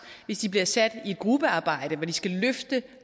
hvis de bliver sat i et gruppearbejde hvor de skal løfte